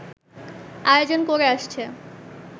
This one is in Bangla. আয়োজন করে আসছে